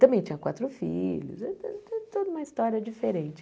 Também tinha quatro filhos, era to toda uma história diferente.